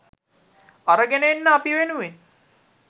අරගෙන එන්න අපි වෙනුවෙන්